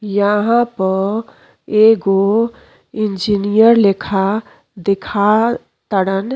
यहाँ प एगो इंजीनियर लेखा देखा तड़न।